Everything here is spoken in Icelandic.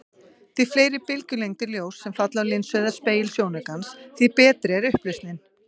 Því fleiri bylgjulengdir ljóss sem falla á linsu eða spegil sjónaukans, því betri er upplausnin.